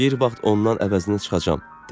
Bir vaxt ondan əvəzini çıxacağam, dedi.